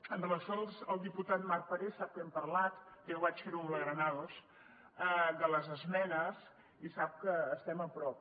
en relació al diputat marc parés sap que hem parlat també ho vaig fer amb la granados de les esmenes i sap que estem a prop